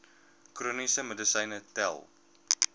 chroniese medisyne tel